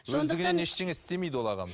өздігінен ештеңе істемейді ол ағамыз